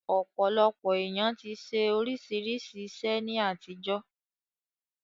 Ọ̀pọ̀lọpọ̀ èèyàn ti ṣe oríṣiríṣi iṣẹ́ ní àtijọ́